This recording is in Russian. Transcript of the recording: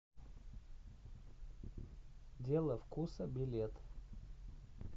дело вкуса билет